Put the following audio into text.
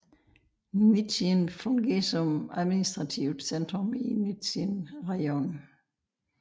Nizjyn fungerer som administrativt centrum i Nizjyn rajon